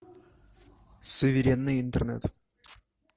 суверенный интернет